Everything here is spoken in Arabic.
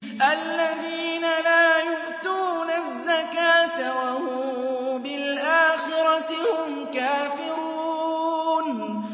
الَّذِينَ لَا يُؤْتُونَ الزَّكَاةَ وَهُم بِالْآخِرَةِ هُمْ كَافِرُونَ